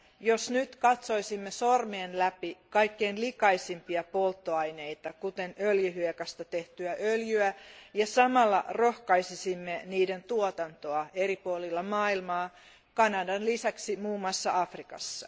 jos nyt katsoisimme sormien läpi kaikkein likaisimpia polttoaineita, kuten öljyhiekasta tehtyä öljyä, ja samalla rohkaisisimme niiden tuotantoa eri puolilla maailmaa, Kanadan lisäksi muun muassa Afrikassa.